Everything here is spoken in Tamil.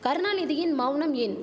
கருணாநிதியின் மௌனம் ஏன்